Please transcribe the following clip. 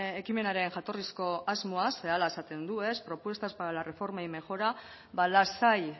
ekimenaren jatorrizko asmoa ze hala esaten du ez propuestas para la reforma y mejora ba lasai